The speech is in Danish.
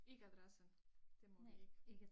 Ikke adressen det må vi ikke